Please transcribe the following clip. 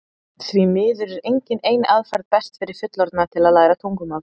því miður er engin ein aðferð best fyrir fullorðna til að læra tungumál